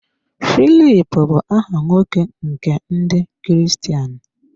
Filip bụ aha nwoke nke Ndị Kristian.